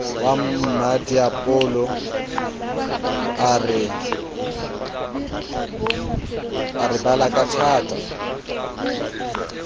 wa mmmadiepollo a re balakatha